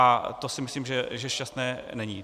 A to si myslím, že šťastné není.